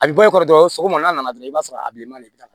A bɛ bɔ i kɔrɔ dɔrɔn sɔgɔma n'a nana dɔrɔn i b'a sɔrɔ a bilenma le b'i la